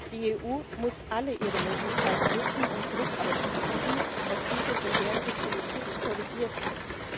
Die EU muss alle ihre Möglichkeiten nutzen, um Druck auszuüben, dass diese verheerende Politik korrigiert wird.